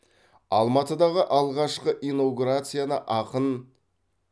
алматыдағы алғашқы инаугурацияны ақын